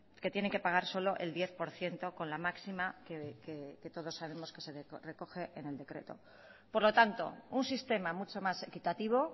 que tienen que pagar solo el diez por ciento con la máxima que todos sabemos que se recoge en el decreto por lo tanto un sistema mucho más equitativo